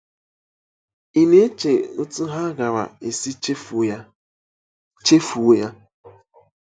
Ị̀ na-eche otú ha gaara esi chefuo ya? chefuo ya? -